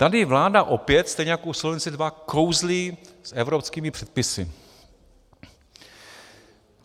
Tady vláda opět stejně jako u Solvency II kouzlí s evropskými předpisy.